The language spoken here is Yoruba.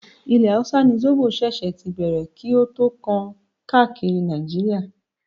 Ilẹ̀ hausa ni zobo ṣíṣe tí bẹ̀rẹ̀ kí o tó tàn káàkiri Nàìjíríà.